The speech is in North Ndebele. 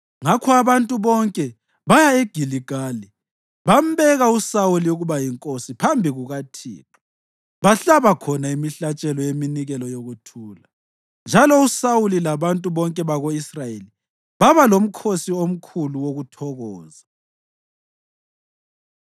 Ngakho abantu bonke baya eGiligali bambeka uSawuli ukuba yinkosi phambi kukaThixo. Bahlaba khona imihlatshelo yeminikelo yokuthula, njalo uSawuli labantu bonke bako-Israyeli baba lomkhosi omkhulu wokuthokoza.